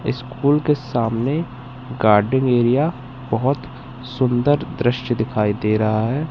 School के सामने garden area बहोत सुंदर दृश्य दिखाई दे रहा है।